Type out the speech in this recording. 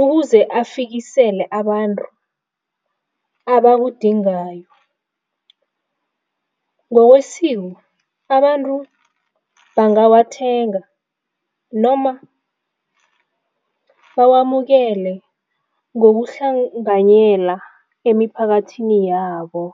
ukuze afikisele abantu abakudingayo. Ngokwesiko abantu bangabathenga noma bawamukele ngokuhlanganyela emiphakathini yabo.